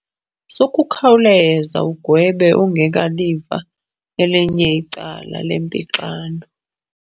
Sukukhawuleza ugwebe ungekaliva elinye icala lempixano.